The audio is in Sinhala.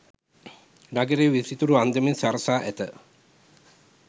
නගරය විසිතුරු අන්දමින් සරසා ඇත.